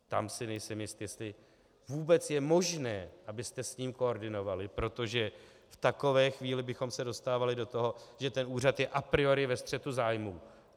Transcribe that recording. Tam si nejsem jist, jestli vůbec je možné, abyste s ním koordinovali, protože v takové chvíli bychom se dostávali do toho, že ten úřad je a priori ve střetu zájmů.